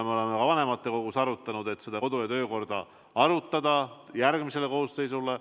Me oleme ka vanematekogus arutanud, et kodu- ja töökorda tuleks järgmises kooseisus arutada.